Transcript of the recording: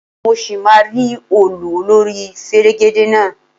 Mọ ṣì máa rí òòlù olórí fẹ̀rẹ̀gẹ̀dẹ̀ náà.